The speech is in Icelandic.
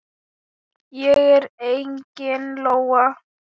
Ég er engin lóa.